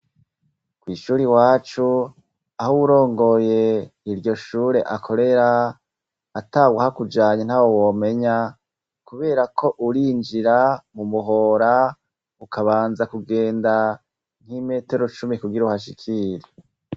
Kw'ishuri wacu aho uwurongoye iryo shure akorera ata guha kujanya nta wo womenya, kubera ko urinjira mumuhora ukabanza kugenda nk'imetero cumi kugira uhashikire.